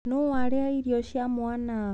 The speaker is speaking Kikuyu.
Nũũ warĩa irio cia mwana?